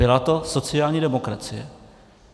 Byla to sociální demokracie!